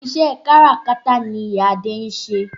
Iṣẹ́ káràkátà ni ìyá Adé ń ṣe.